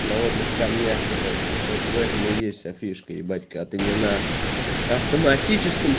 на водных камнях короче вот в этом и есть вся фишка ебать когда ты не на автоматическом